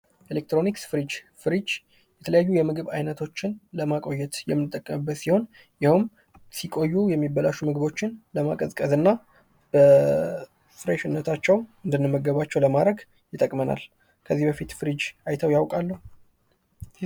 ኤሌክትሮኒክስ ፦ ፍሪጅ ፦ ፍሪጅ የተለያዩ የምግብ አይነቶችን ለማቆየት የምንጠቀምበት ሲሆን ሲቆዩ የሚበላሹ ምግቦችን ለማቀዝቀዝና በፍሬሽነታቸው እንድንመገባቸው ለማድረግ ይጠቅመናል ። ከዚህ በፊት ፍሪጅ አይተው ያውቃሉ ?